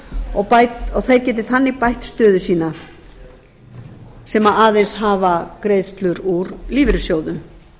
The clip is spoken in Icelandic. og þeir geti þannig bætt þannig stöðu sína sem aðeins hafa greiðslur úr lífeyrissjóðum